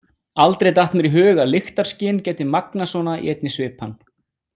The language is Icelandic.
Aldrei datt mér í hug að lyktarskyn gæti magnast svona í einni svipan.